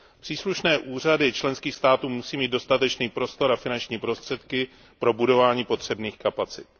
Příslušné úřady členských států musí mít dostatečný prostor a finanční prostředky pro budování potřebných kapacit.